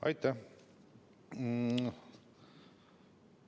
Aitäh!